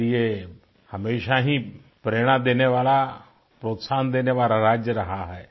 के लिये हमेशा ही प्रेरणा देने वाला प्रोत्साहन देने वाला राज्य रहा है